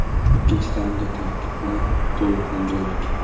Ikkinchi taymda tarkibni to‘liq yangiladik.